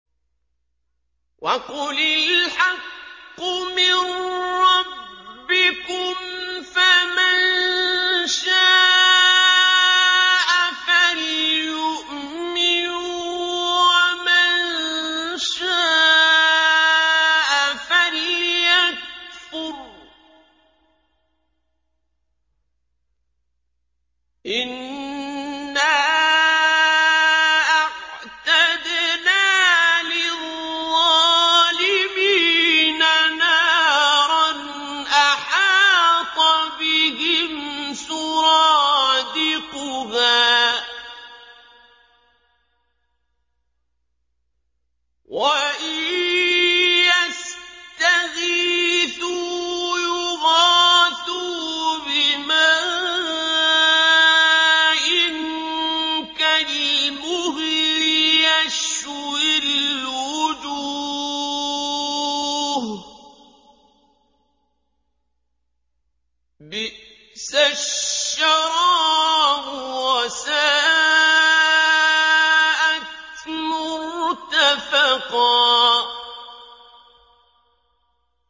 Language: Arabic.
وَقُلِ الْحَقُّ مِن رَّبِّكُمْ ۖ فَمَن شَاءَ فَلْيُؤْمِن وَمَن شَاءَ فَلْيَكْفُرْ ۚ إِنَّا أَعْتَدْنَا لِلظَّالِمِينَ نَارًا أَحَاطَ بِهِمْ سُرَادِقُهَا ۚ وَإِن يَسْتَغِيثُوا يُغَاثُوا بِمَاءٍ كَالْمُهْلِ يَشْوِي الْوُجُوهَ ۚ بِئْسَ الشَّرَابُ وَسَاءَتْ مُرْتَفَقًا